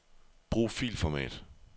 Brug filformat.